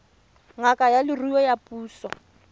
ngaka ya leruo ya puso